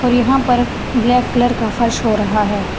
और यहां पर ब्लैक कलर का फर्श हो रहा हैं।